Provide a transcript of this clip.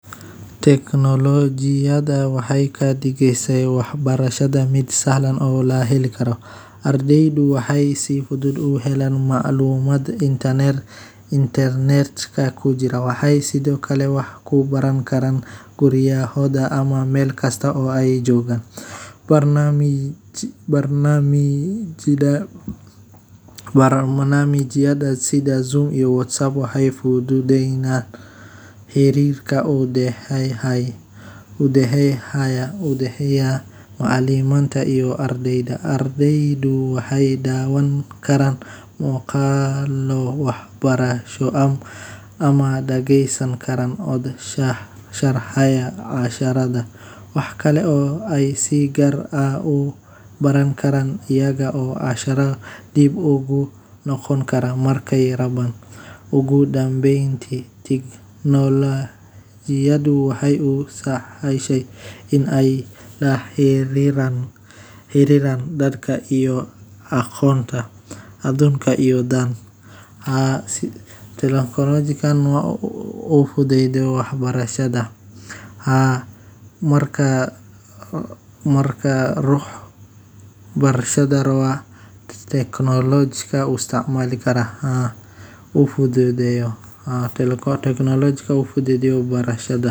Teknolojiyada, waxey kadigesa wax barashada fuded inkasta oo ay leedahay faa’iidooyin badan oo ku saabsan waxbarashada, haddana waxay sidoo kale keeni kartaa caqabado iyo dhibaatooyin haddii aan si habboon loo isticmaalin. Mid ka mid ah digniinaha ugu waa weyn ee laga helo teknoolojiyada waa in ay fududeyso mashquul iyo kala jeesasho ardayda ka fogeysa diiradda iyo barashada tooska ah. Adeegsiga joogtada ah ee aaladaha sida taleefannada casriga ah, tablet-yada, ama kombiyuutarada iyadoo aan lahayn xakameyn, wuxuu yareyn karaa feejignaanta iyo hal-abuurka ardayga, taas oo hoos u dhigta waxqabadka waxbarasho. Waxaa kale oo jirta in xogta badan ee laga